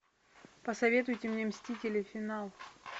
посоветуйте мне мстители финал